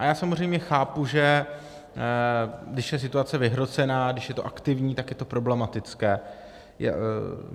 A já samozřejmě chápu, že když je situace vyhrocená, když je to aktivní, tak je to problematické.